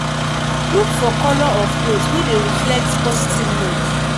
look for color of cloth wey dey reflect positive mood